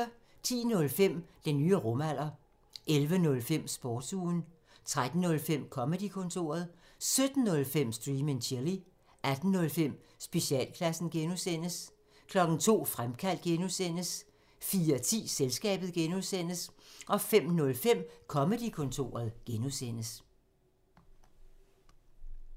10:05: Den nye rumalder 11:05: Sportsugen 13:05: Comedy-kontoret 17:05: Stream and chill 18:05: Specialklassen (G) 02:00: Fremkaldt (G) 04:10: Selskabet (G) 05:05: Comedy-kontoret (G)